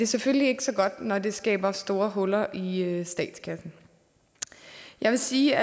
selvfølgelig ikke så godt når det skaber store huller i statskassen jeg vil sige